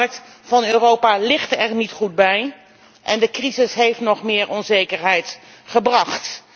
De arbeidsmarkt van Europa ligt er niet goed bij en de crisis heeft nog meer onzekerheid gebracht.